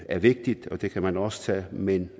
er vigtigt og det kan man også tage men